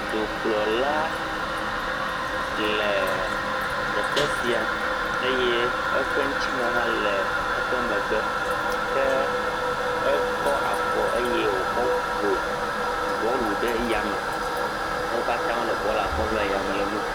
Dukplɔla le teƒe sia eye eƒe ŋtsimewo hã le eƒe megbe. Ke ekɔ afɔ eye wokɔ ƒo bɔlu ɖe ya me. Wo katã wole bɔlua kpɔm le eyea me le nu kom.